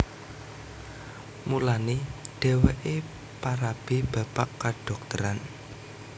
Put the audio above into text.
Mulané dhèwèké parabé bapak kadhokteran